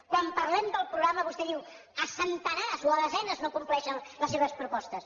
quan parlem del programa vostè diu a centenars o a desenes no compleixen les seves propostes